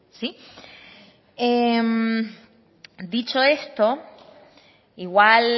dicho esto igual